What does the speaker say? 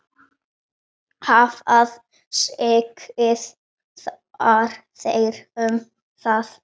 Hvað segið þér um það?